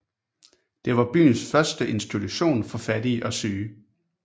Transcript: Det var byens første institution for fattige og syge